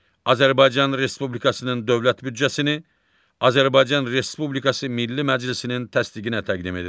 Azərbaycan Respublikasının dövlət büdcəsini Azərbaycan Respublikası Milli Məclisinin təsdiqinə təqdim edir.